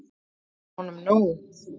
Það var honum nóg.